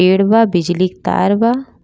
पेड़ बा बिजली क तर बा।